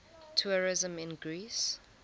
tourism in greece